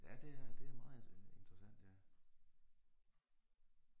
Ja det er det er meget interessant ja